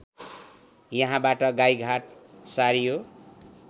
यहाँबाट गाईघाट सारियो